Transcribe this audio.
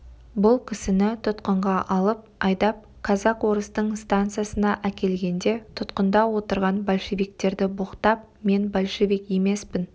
бұл кісіні тұтқынға алып айдап казак-орыстың станицасына әкелгенде тұтқында отырған большевиктерді боқтап мен большевик емеспін